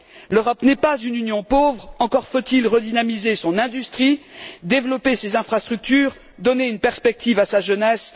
L'Europe n'est pas une Union pauvre, encore faut il redynamiser son industrie, développer ses infrastructures et donner une perspective à sa jeunesse.